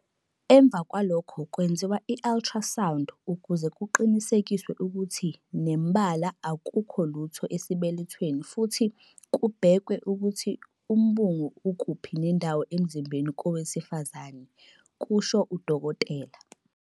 "Emva kwalokho kwenziwa i-ultrasound ukuze kuqinisekiswe ukuthi nembala akukho lutho esibelethweni futhi kubhekwe ukuthi umbungu ukuphi nendawo emzimbeni wowesifazane," kusho uDkt.